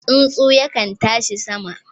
Tsuntsu yakan tashi sama